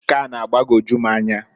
Nke a na-agbagoju m anya.